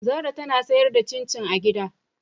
Zara tana sayar da cin cin a gida.